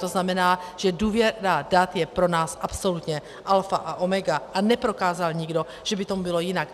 To znamená, že důvěra dat je pro nás absolutně alfa a omega, a neprokázal nikdo, že by tomu bylo jinak.